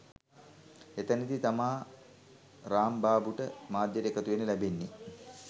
එතැනදි තමා රාම්බාබුට මාධ්‍යයට එකතුවෙන්න ලැබෙන්නෙ